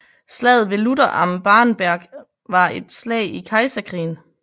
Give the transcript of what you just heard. Slaget ved Lutter am Barenberg var et slag i Kejserkrigen